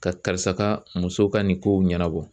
Ka karisa ka muso ka nin kow ɲɛnabɔ